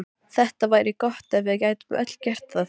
Það væri gott ef við gætum öll gert það.